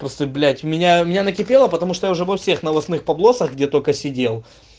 просто блять у меня у меня накипело потому что уже во всех новостных погосов где только сидел